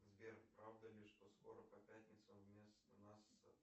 сбер правда ли что скоро по пятницам вместо нас